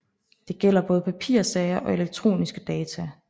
Det gælder både papirsager og elektroniske data